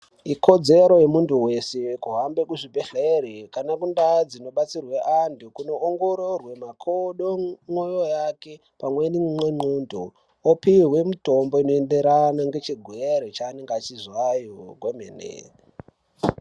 Ikodzero yemuntu veshe kuhamba kuzvibhedhlere kana kundaa dzinobatsirwe antu kunoongorore makodo ,moyo yake pamweni nendxondo, opihwa mitombo inoenderana nechigwere chanenge achizwayo kwemene.